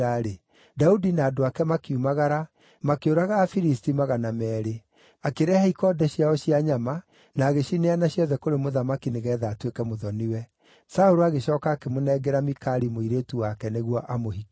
Daudi na andũ ake makiumagara, makĩũraga Afilisti magana meerĩ. Akĩrehe ikonde ciao cia nyama na agĩcineana ciothe kũrĩ mũthamaki nĩgeetha atuĩke mũthoni-we. Saũlũ agĩcooka akĩmũnengera Mikali mũirĩtu wake nĩguo amũhikie.